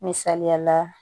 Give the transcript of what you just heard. Misaliyala